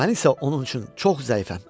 Mən isə onun üçün çox zəifəm.